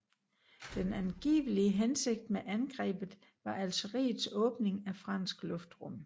Den angivelige hensigt med angrebet var Algeriets åbning af fransk luftrum